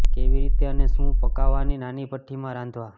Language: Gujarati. કેવી રીતે અને શું પકાવવાની નાની ભઠ્ઠી માં રાંધવા